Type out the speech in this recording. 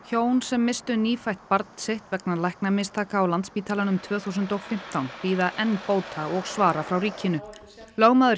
hjón sem misstu nýfætt barn sitt vegna læknamistaka á Landspítalanum tvö þúsund og fimmtán bíða enn bóta og svara frá ríkinu ríkislögmaður